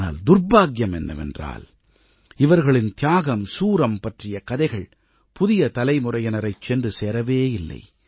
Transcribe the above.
ஆனால் துர்பாக்கியம் என்னவென்றால் இவர்களின் தியாகம் சூரம் தியாகம் பற்றிய கதைகள் புதிய தலைமுறையினரைச் சென்று சேரவே இல்லை